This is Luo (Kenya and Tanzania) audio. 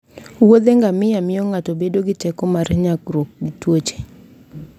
wuodhe ngamia miyo ng'ato bedo gi teko mar nyagruok gi tuoche